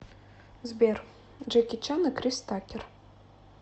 сбер джеки чан и крис такер